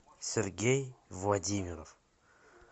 сергей владимиров